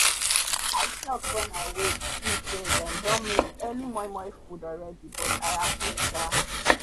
i shock wen i wake see say them don make early momo food alreadi but i happy shaa